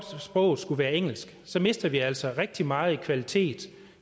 sproget skal være engelsk så mister vi altså rigtig meget kvalitet